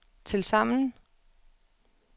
tilsammen